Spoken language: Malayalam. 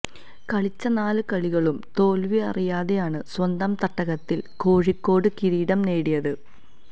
കളിച്ച നാല് കളികളും തോല്വിയറിയാതെയാണ് സ്വന്തം തട്ടകത്തില് കോഴിക്കോട് കിരീടം നേടിയത്